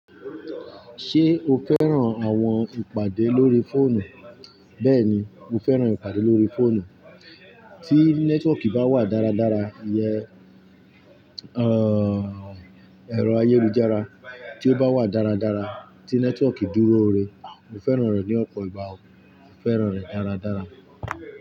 Ṣé o fẹ́ràn àwọn ìpàdé lórí fóònù? Bẹ́ẹ̀ni, mo fẹ́ràn ìpàdé lórí fóònù. Tí nẹ́tíwọ̀ọ̀kì bá wà dáradára, ìyèn ẹ̀rọ ayélujára tí ó bá wà dáradára, tí nẹ́tíwọ̀ọ̀kì dúróore, mo fẹ́ràn rẹ̀ ní ọ̀pọ̀ ìgbà o. Mo fẹ́ràn rẹ̀ dáradára.